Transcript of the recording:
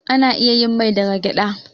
Ana iya yin mai daga gyaɗa.